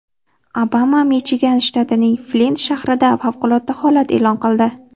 Obama Michigan shtatining Flint shahrida favqulodda holat e’lon qildi.